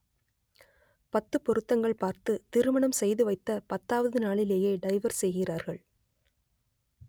பத்து பொருத்தங்கள் பார்த்து திருமணம் செய்துவைத்த பத்தாவது நாளிலேயே டைவர்ஸ் செய்கிறார்கள்